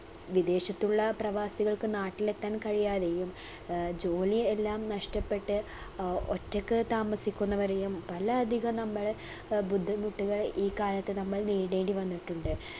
വിദേശത്തുള്ള പ്രവാസികൾക്ക് നാട്ടിലെത്താൻ കഴിയാതെയും ഏർ ജോലിയെല്ലാം നഷ്ട്ടപ്പെട്ട് അഹ് ഒറ്റക്ക് താമസിക്കുന്നവരെയും പല അധികം നമ്മൾ അഹ് ബുദ്ധിമുട്ടുകൾ ഈ കാലത്ത് നമ്മൾ നേരിടേണ്ടി വന്നിട്ടുണ്ട്